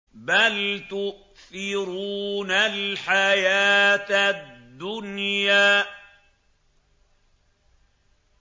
بَلْ تُؤْثِرُونَ الْحَيَاةَ الدُّنْيَا